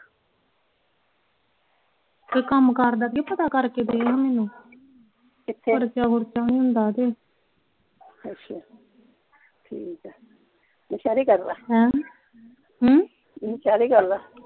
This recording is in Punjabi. ਕੰਮ ਕਾਰ ਦਾ ਕੋਈ ਪਤਾ ਕਰ ਕੇ ਦਿਉ ਮੈਨੂੰ ਕਿੱਥੇ ਖਰਚਾ ਖੁਰਚਾ ਵੀ ਹੁੰਦਾ ਕੇ ਅੱਛਾ ਠੀਕ ਆ ਨਸਹਿਰੇ ਕਰ ਲਾ ਹੈਂ ਨਸਹਿਰੇ ਕਰ ਲਾ